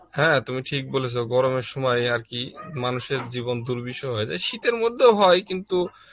হ্যাঁ তুমি ঠিক বলেছ গরমের সময় আর কি মানুষের জীবন দুর্বিষহ হয়ে যায় শীতের মধ্যেও হয় কিন্তু